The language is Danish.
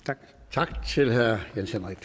tak til herre jens henrik